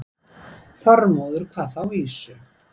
Þormóður kvað þá vísu